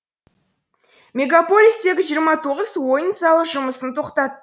мегаполистегі жиырма тоғыз ойын залы жұмысын тоқтатты